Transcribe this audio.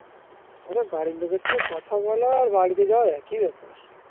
আরে বাড়ির লোকের সাথে কথা বলো আর বাড়িতে যাওয়া একই ব্যাপার